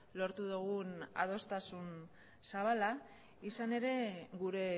lortu dugun adostasun zabala izan ere gure